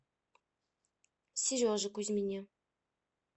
сереже кузьмине